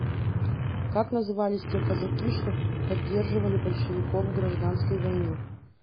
как назывались те казаки что поддерживали большевиков в гражданской войне